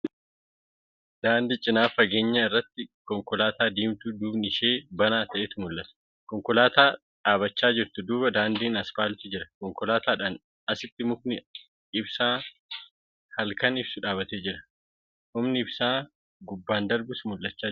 Daandii cinaa fageenya irratti konkolaataa diimtuu duubni ishee banaa ta'etu mul'ata. Konkolaataa dhaabbachaa jirtu duuba daandiin aspaaltii jira. Konkolaataadhaa asitii mukni ibsaa halkan ibsuu dhaabbatee jira. Humni ibsaa gubbaan darbus mul'achaa jira.